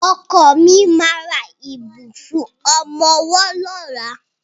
Ọkọ mi ma ra ìbùsùn ọmọwọ́ lọ́la.